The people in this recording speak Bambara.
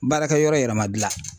Baarakɛyɔrɔ yɛrɛ ma gila